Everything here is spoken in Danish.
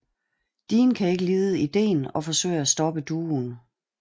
Dean kan ikke lide ideen og forsøger at stoppe duoen